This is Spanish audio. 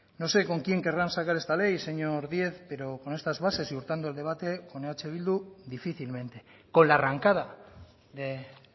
no sé con quién querrán sacar esta ley señor díez pero con estas bases y hurtando el debate con eh bildu difícilmente con la arrancada de